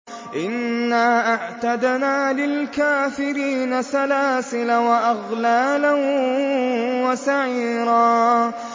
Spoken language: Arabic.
إِنَّا أَعْتَدْنَا لِلْكَافِرِينَ سَلَاسِلَ وَأَغْلَالًا وَسَعِيرًا